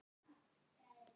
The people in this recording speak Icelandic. Hún er í kvöld.